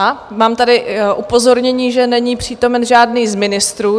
A mám tady upozornění, že není přítomen žádný z ministrů.